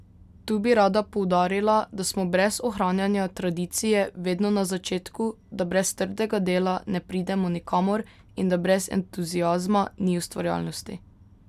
Tu bi rada poudarila, da smo brez ohranjanja tradicije vedno na začetku, da brez trdega dela ne pridemo nikamor in da brez entuziazma ni ustvarjalnosti.